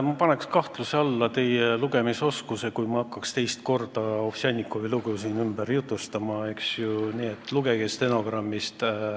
Ma paneks kahtluse alla teie lugemisoskuse, kui ma hakkaks siin teist korda Ovsjannikovi lugu ümber jutustama, nii et lugege stenogrammist.